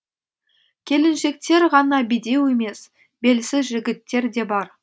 келіншектер ғана бедеу емес белсіз жігіттер де бар